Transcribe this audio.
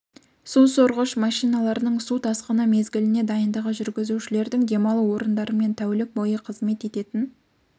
су сорғыш машиналарының су тасқыны мезгіліне дайындығы жүргізушілердің демалу орындары мен тәулік бойы қызмет ететін